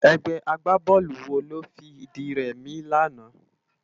Ègbè ágbábòlú wó ló fi di rèmi làná?